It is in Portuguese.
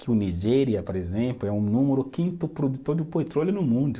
Que o Nigéria, por exemplo, é o número quinto produtor do petróleo no mundo.